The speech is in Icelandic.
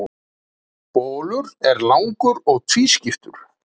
Bolur er langur og tvískiptur.